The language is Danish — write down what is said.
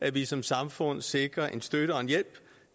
at vi som samfund sikrer en støtte og en hjælp